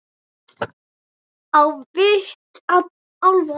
Á vit álfa